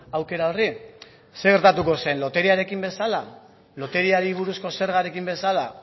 aukera horri zer gertatuko zen loteriarekin bezala loteriari buruzko zergarekin bezala